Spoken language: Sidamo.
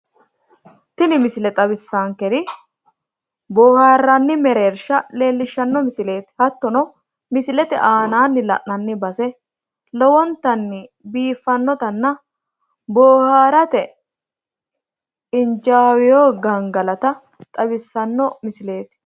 Tini misile xawissaankeri boohaarranni mereersha leellishshanno misileeti, hattono misilete aanaanni la'nanni base lowontanni biiffannotanna boohaarate injaaweyo gangalata xawissanno misileeti,